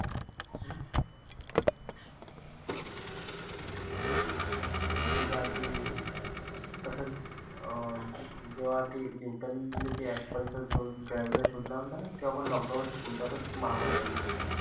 त्याच्याआधी कसच अं जेव्हा ते न्यूटन ले ते apple चा शोध gravity चा शोध लावलता ना. तेव्हा पण lockdown च तसेच एक महामारी आलेली होती.